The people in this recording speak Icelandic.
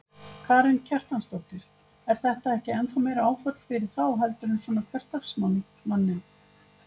Karen Kjartansdóttir: Er þetta ekki ennþá meira áfall fyrir þá heldur en svona hversdagsmann, manninn?